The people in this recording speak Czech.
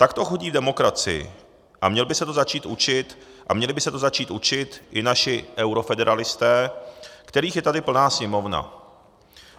Tak to chodí v demokracii a měli by se to začít učit i naši eurofederalisté, kterých je tady plná Sněmovna.